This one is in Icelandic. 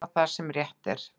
Gera það sem rétt er.